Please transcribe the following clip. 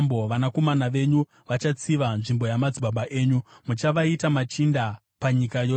Vanakomana venyu vachatsiva nzvimbo yamadzibaba enyu; muchavaita machinda munyika yose.